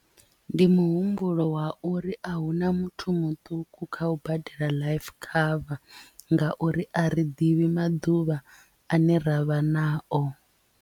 Ndi muhumbulo wa uri a huna muthu muṱuku kha u badela life cover ngauri a ri ḓivhi maḓuvha ane ravha nao.